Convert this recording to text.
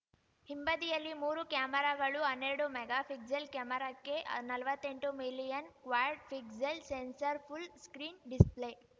ಹಿಂಬದಿಯಲ್ಲಿ ಮೂರು ಕೆಮರಾಗಳು ಹನ್ನೆರಡು ಮೆಗಾಫಿಕ್ಸೆಲ್‌ ಕೆಮರಾಕ್ಕೆ ನಲವತ್ತೆಂಟು million quad pixel sensor full screen display